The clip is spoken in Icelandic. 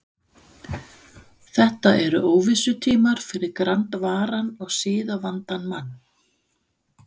Þetta eru óvissutímar fyrir grandvaran og siðavandan mann.